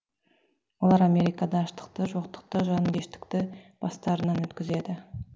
олар америкада аштықты жоқтықты жанкештікті бастарынан өткізеді